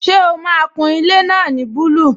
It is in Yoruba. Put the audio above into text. Ṣé o máa kun ilé náà ní búlù?